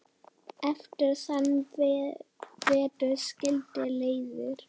Eftir þann vetur skildi leiðir.